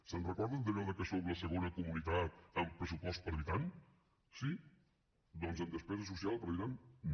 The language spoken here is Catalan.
es recorden d’allò que som la segona comunitat en pressupost per habitant sí doncs en despesa social per habitant no